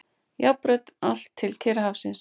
Járnbraut allt til Kyrrahafsins.